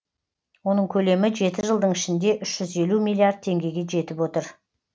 оның көлемі жеті жылдың ішінде үш жүз елу миллиард теңгеге жетіп отыр